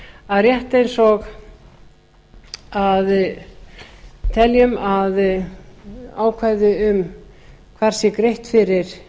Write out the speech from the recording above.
að rétt eins og teljum að ákvæði um hvar sé greitt fyrir